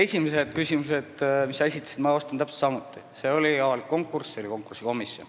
Esimestele küsimustele, mis sa esitasid, vastasin ma täpselt samamoodi: see oli avalik konkurss, seal oli konkursikomisjon.